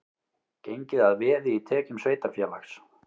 Gengið að veði í tekjum sveitarfélags